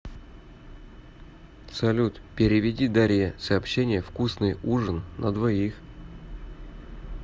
салют переведи дарье сообщение вкусный ужин на двоих